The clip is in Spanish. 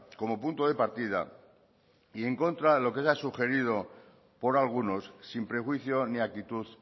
como punto de partida y en contra de lo que se haya sugerido por algunos sin prejuicio ni actitud